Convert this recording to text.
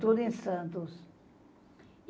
Tudo em Santos.